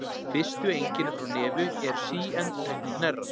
Fyrstu einkenni frá nefi eru síendurteknir hnerrar.